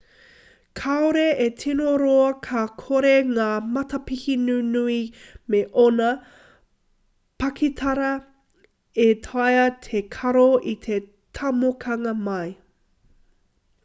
kaore e tino roa ka kore ngā matapihi nunui me ōna pakitara e taea te karo i te tomokanga mai